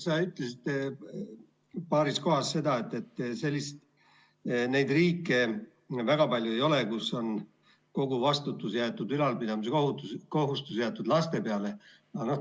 Sa ütlesid paaril korral seda, neid riike väga palju ei ole, kus kogu ülalpidamiskohustus on jäetud laste peale.